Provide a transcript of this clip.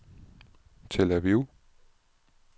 Tel Aviv